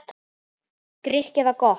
Grikk eða gott?